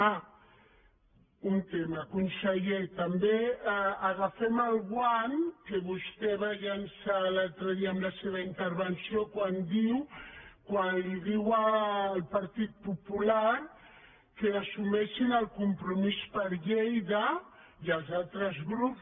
ah un tema conseller també agafem el guant que vostè va llançar l’altre dia amb la seva intervenció quan li diu al partit popular que assumeixin el compromís per lleida i als altres grups